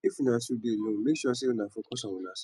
if una two dey alone mek sure sey una focus on unasef